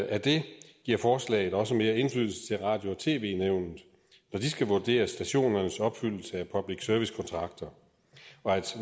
af det giver forslaget også mere indflydelse til radio og tv nævnet når de skal vurdere stationernes opfyldelse af public service kontrakter og